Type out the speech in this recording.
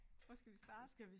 Hvor skal vi starte?